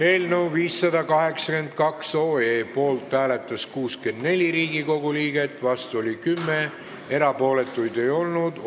Eelnõu 582 poolt hääletas 64 Riigikogu liiget, vastu oli 10, erapooletuid ei olnud.